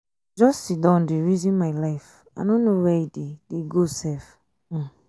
i just siddon dey resin my life i no know where e dey dey go sef. um